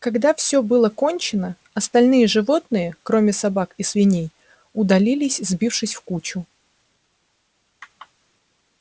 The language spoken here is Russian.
когда все было кончено остальные животные кроме собак и свиней удалились сбившись в кучу